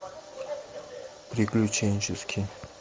приключенческий